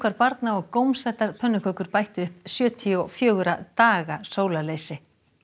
barna og gómsætar pönnukökur bættu upp sjötíu og fjögurra daga sólarleysi